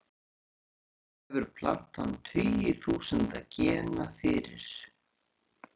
Sjálf hefur plantan tugi þúsunda gena fyrir.